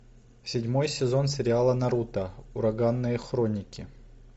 седьмой сезон сериала наруто ураганные хроники